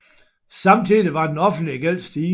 Samtidig var den offentlige gæld stigende